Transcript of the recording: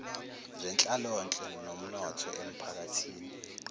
zenhlalonhle nomnotho emiphakathini